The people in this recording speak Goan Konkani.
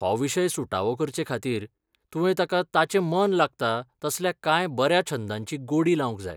हो विशय सुटावो करचेखातीर तुवें ताका ताचें मन लागता तसल्या कांय बऱ्या छंदांची गोडी लावंक जाय.